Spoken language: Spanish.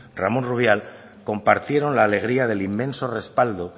ramón rubial compartieron la alegría del inmenso respaldo